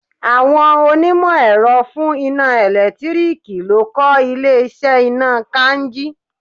Àwọn onímọ̀ èrọ fún iná ẹ̀lẹ́tíríkì ló kọ́ ilé iṣẹ́ iná kainji.